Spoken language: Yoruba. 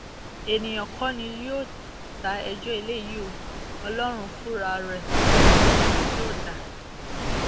èèyàn kọ ni yóò um dá ẹjọ eléyìí o ọlọrun fúnra rẹ um ni yóò dá a